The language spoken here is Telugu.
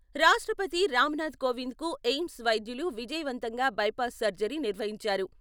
రాష్ట్రపతి రామ్ నాథ్ కోవింద్కు ఎయిమ్స్ వైద్యులు విజయవంతంగా బైపాస్ సర్జరీ నిర్వహించారు.